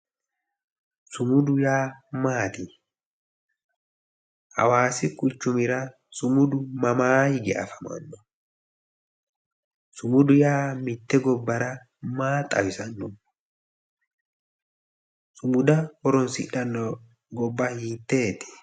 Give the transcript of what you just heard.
Sumudu yaa maati hawaasi quchumira sumudu mamaa hige afamanno sumudu yaa mitte gobbara maa xawisanno sumuda horonsidhanno gobba hiteeti